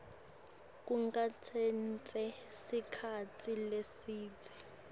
kungatsatsa sikhatsi lesidze